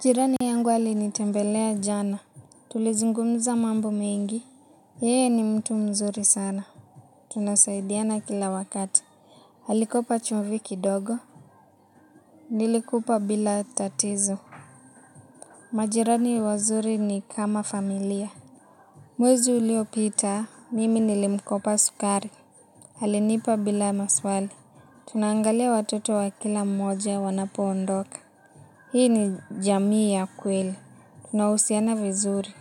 Jirani yangu alinitembelea jana. Tulizungumza mambo mengi. Yeye ni mtu mzuri sana. Tunasaidiana kila wakati alikopa chumvi kidogo. Nilimpa bila tatizo. Majirani wazuri ni kama familia. Mwezi uliopita, mimi nilimkopa sukari alinipa bila maswali. Tunaangalia watoto wa kila mmoja wanapo ondoka. Hii ni jamii ya kweli. Tunahusiana vizuri.